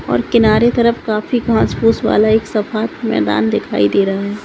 और किनारे तरफ काफी घांस-फूस वाला एक सपाट मैदान दिखाई दे रहा है।